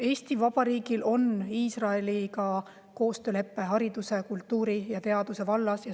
Eesti Vabariigil on Iisraeliga koostöölepe hariduse, kultuuri ja teaduse vallas.